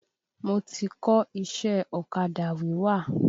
Mo ti kọ́ iṣẹ́ ọ̀kadà wíwà.